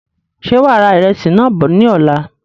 Ṣe wàá ra ìrẹsì náà bọ̀ ní ọ̀la?